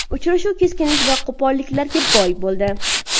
Uchrashuv keskinlik va qo‘polliklarga boy bo‘ldi.